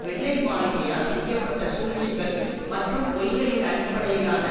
வெள்ளை மாளிகையால் செய்ய பட்ட சூழ்ச்சிகள் மற்றும் பொய்களின் அடிப்படையிலான